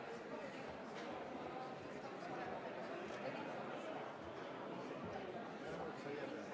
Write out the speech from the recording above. Istungi lõpp kell 15.48.